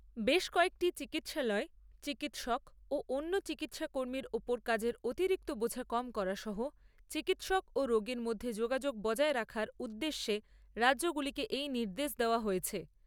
বেশ কয়েকটি চিকিৎসালয়ে চিকিৎসক ও অন্য চিকিৎসা কর্মীর ওপর কাজের অতিরিক্ত বোঝা কম করা সহ চিকিৎসক ও রোগীর মধ্যে যোগাযোগ বজায় রাখার উদ্দেশ্যে রাজ্যগুলিকে এই নির্দেশ দেওয়া হয়েছে।